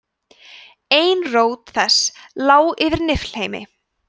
ein rót þess lá yfir niflheimi